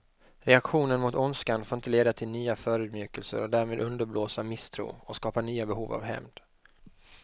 Reaktionen mot ondskan får inte leda till nya förödmjukelser och därmed underblåsa misstro och skapa nya behov av hämnd.